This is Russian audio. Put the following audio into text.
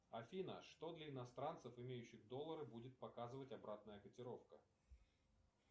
афина что для иностранцев имеющих доллары будет показывать обратная котировка